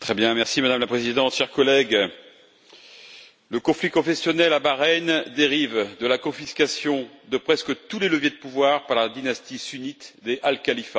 Madame la Présidente, chers collègues, le conflit confessionnel à Bahreïn dérive de la confiscation de presque tous les leviers de pouvoir par la dynastie sunnite des Al Khalifa.